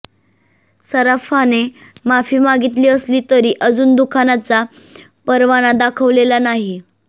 सराफाने माफी मागितली असली तरी अजून दुकानाचा परवाना दाखवलेला नाही